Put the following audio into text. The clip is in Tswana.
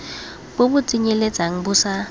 bo bo tsenyeletsang bo sa